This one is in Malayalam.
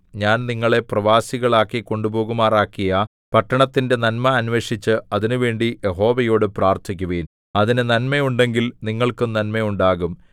ഞാൻ നിങ്ങളെ പ്രവാസികളായി കൊണ്ടുപോകുമാറാക്കിയ പട്ടണത്തിന്റെ നന്മ അന്വേഷിച്ച് അതിനുവേണ്ടി യഹോവയോടു പ്രാർത്ഥിക്കുവിൻ അതിന് നന്മ ഉണ്ടെങ്കിൽ നിങ്ങൾക്കും നന്മ ഉണ്ടാകും